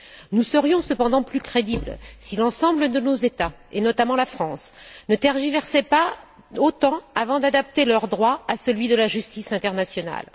Nous serions cependant plus crédibles si l'ensemble de nos États, et notamment la France, ne tergiversaient pas autant avant d'adapter leur droit à celui de la justice internationale.